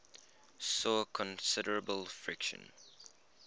saw considerable friction